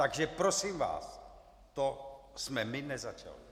Takže prosím vás, to jsme my nezačali.